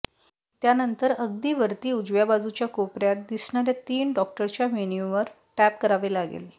त्यानंतर अगदी वरती उजव्या बाजूच्या कोपर्यात दिसणार्या तीन डॉटच्या मेन्यूवर टॅप करावे लागेल